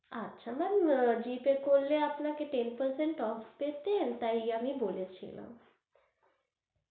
আচ্ছা, ম্যামG pay আপনি করলেন দশ %অফ পেতেন তাই আমি বলে ছিলাম